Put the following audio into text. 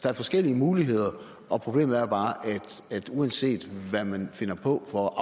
er forskellige muligheder problemet er bare at uanset hvad man finder på for at